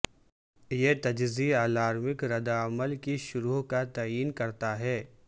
یہ تجزیہ الارمک رد عمل کی شرح کا تعین کرتا ہے